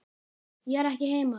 Ég er ekki heima.